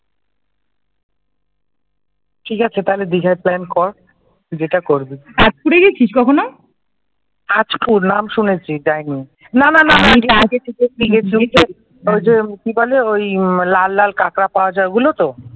ঠিক আছে তাহলে দীঘাই প্ল্যান কর, তুই যেটা করবি আজকুড়ে গেছিস কখনো আজকুড় নাম শুনেছি যাইনি, না না না অনেকটা আগে থেকে ওই যে কি বলে ওই লাল লাল কাকড়া পাওয়া যায় ওইগুলো তো